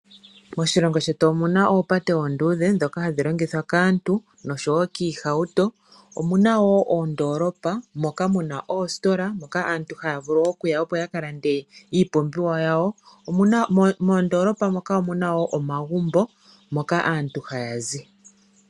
Moshilongo shetu omuna oopate oonduudhe ndhoka hadhi longithwa kaantu nosho wo kiihauto, omuna wo oondolopa muna oositola moka aantu haya vulu okuya opo uakalande iipumbiwa yawo mondoolopa moka onuna wo omagumbo moka aantu hayazi.